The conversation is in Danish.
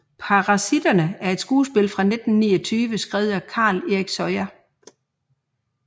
Parasitterne er et skuespil fra 1929 skrevet af Carl Erik Soya